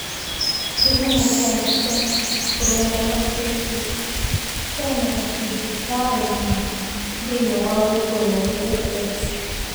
Kĩhumo kĩa mbica: Rũrenda rwa Facebook hena gacunjĩ ka ũma thĩiniĩ wa gwĩkũĩrwo gũkũ?